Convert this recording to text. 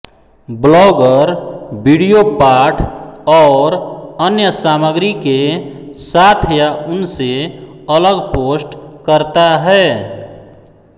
vlogger video पाठ और अन्य सामग्री के साथ या उनसे अलग पोस्ट करता है